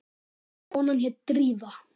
Konan hét Drífa.